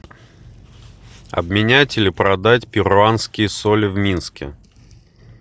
обменять или продать перуанские соли в минске